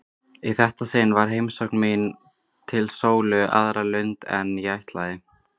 Í þetta sinn var heimsókn mín til Sólu á aðra lund en ég ætlaði.